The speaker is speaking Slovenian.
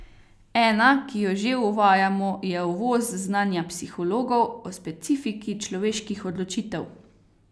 Ena, ki jo že uvajamo je uvoz znanja psihologov o specifiki človeških odločitev.